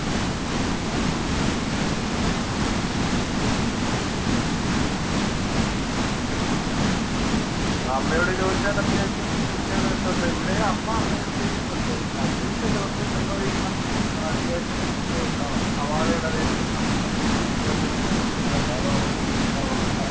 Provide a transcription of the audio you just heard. അമ്മയോട് ചോദിച്ചാല്‍ അത്യാവശ്യം ബുദ്ധികള്‍ കിട്ടുവല്ലോ. ഇവിടെയും അമ്മ ചെയ്യുന്നുണ്ട്. അവര് പക്ഷേ ദിവസവും വെള്ളമൊഴിക്കണം. അത്യാവശ്യം ഒക്കെ സവാളയുടെ waste ഇടണം. അമ്മ അങ്ങനൊക്കെ എന്തോ പരിപാടികള്‍ ചെയ്യുന്നുണ്ട്. അല്ലാതെ വളരുവോന്നുമില്ല. വളർത്താൻ